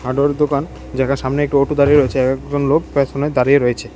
হার্ডওয়ারের দোকান যেটার সামনে একটি অটো দাঁড়িয়ে রয়েছে আর একজন লোক পেছনে দাঁড়িয়ে রয়েছে।